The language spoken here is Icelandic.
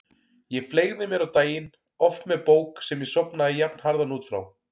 Ég fleygði mér á daginn, oft með bók sem ég sofnaði jafnharðan út frá.